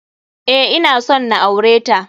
Eh, ina son na aure ta.